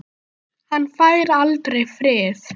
Hann fær aldrei frið.